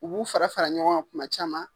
U b'u fara fara ɲɔgɔn kan kuma caman.